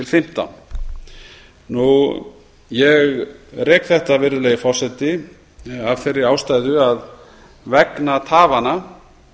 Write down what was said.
tvö þúsund og fimmtán ég rek þetta virðulegi forseti af þeirri ástæðu að vegna tafanna